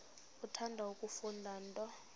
uthanda kufunda nto